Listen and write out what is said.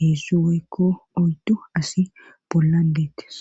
heessu woykko oyddu asi bolla geettes.